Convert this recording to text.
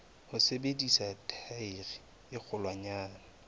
ho sebedisa thaere e kgolwanyane